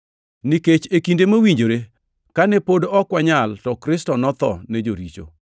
Nikech, e kinde mowinjore, kane pod ok wanyal, to Kristo notho ne joricho.